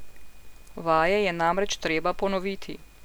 Vaje je namreč treba ponoviti.